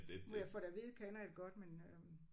Når jeg får det at vide kender jeg det godt men øh